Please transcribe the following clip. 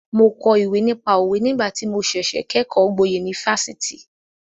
Mo kọ ìwé nípa òwe nígbà tí mo ṣẹ̀ṣẹ̀ kẹ́kọ̀ọ́ gboyè ní Fáṣítì.